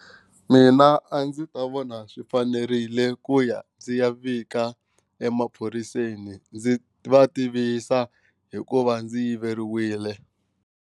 Mina a ndzi ta vona swi fanerile ku ya ndzi ya vika emaphoriseni ndzi va tivisa hi ku va ndzi yiveriwile.